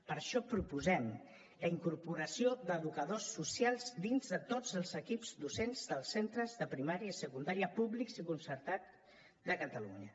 per això proposem la incorporació d’educadors socials dins de tots els equips docents dels centres de primària i secundària públics i concertats de catalunya